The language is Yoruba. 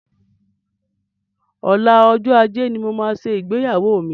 Ọlá, ọjọ́ ajé ni mo máa ṣe ìgbéyàwó mi.